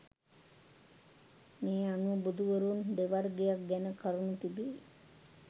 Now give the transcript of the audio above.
මේ අනුව බුදුවරුන් දෙවර්ගයක් ගැන කරුණු තිබේ